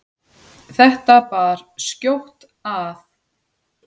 Þetta bar skjótt að.